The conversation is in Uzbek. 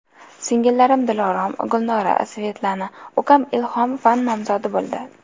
Singillarim Dilorom, Gulnora, Svetlana, ukam Ilhom fan nomzodi bo‘ldi.